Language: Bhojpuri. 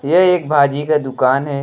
ये एक भाजी का दुकान है।